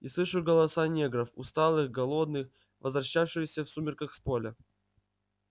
и слышу голоса негров усталых голодных возвращающихся в сумерках с поля